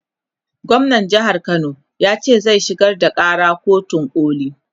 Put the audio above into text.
gwamnan jehar Kano yace zai shigar da Kara kotun koli